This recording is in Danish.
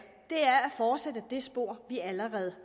fortsætte det spor vi allerede